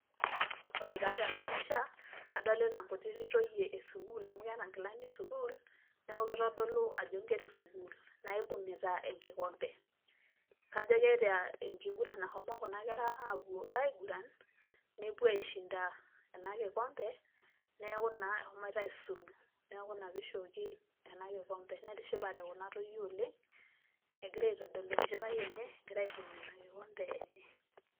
ore taa tena pisha, adolita inkutitik toyie ee sukuul. amuu keeta inkilani ee sukuul, neku keitodolu ajo inkera ee sukuul naibung'ita enkikombe. kajo keeta enkiguran nashomo kuna kera apuo aiguran. nepuo aishinda ena kikombe neaku naa eshomoita aisulu. neaku ina pee eishooki ena kikombe. netishipate kuna toyie oleng' egira aitodolu enchipai enye egira aibung' ena kikombe enye.